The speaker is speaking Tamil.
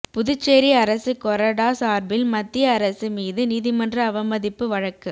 புதுச்சேரி அரசு கொறடா சார்பில்மத்திய அரசு மீது நீதிமன்ற அவமதிப்பு வழக்கு